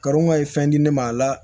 Karon ka ye fɛn di ne ma a la